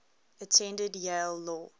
attended yale law